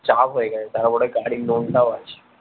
চাপ হয়ে গেছে তারপরে গাড়ির লোন টাও আছে